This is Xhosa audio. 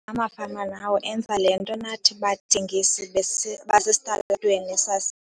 "Amafama nawo enza le nto nathi bathengisi basesitalatweni sasi."